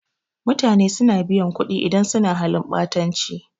Mutane suna biyan kuɗi idan sun suna halin ɓatanci